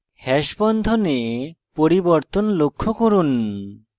hash বন্ধনে পরিবর্তন লক্ষ্য করুন